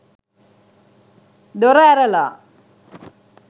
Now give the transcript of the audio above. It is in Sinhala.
දොර ඇරලා